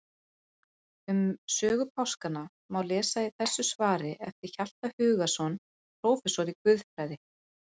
Um sögu páskanna má lesa í þessu svari eftir Hjalta Hugason prófessor í guðfræði.